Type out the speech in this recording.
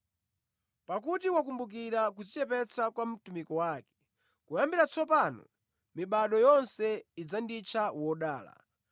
pakuti wakumbukira kudzichepetsa kwa mtumiki wake. Kuyambira tsopano mibado yonse idzanditcha wodala,